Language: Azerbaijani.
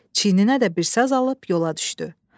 Çiyininə də bir saz alıb yola düşdü.